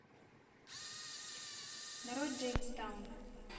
нарой джеймс таун